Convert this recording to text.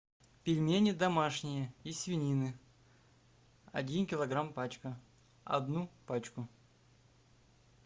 пельмени домашние из свинины один килограмм пачка одну пачку